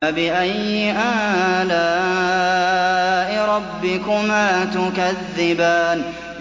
فَبِأَيِّ آلَاءِ رَبِّكُمَا تُكَذِّبَانِ